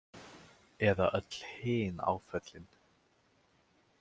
Eða öll hin áföllin.